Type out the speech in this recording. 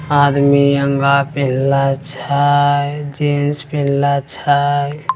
आदमी अंगा पिन्हले छै जीन्स पिन्हले छै।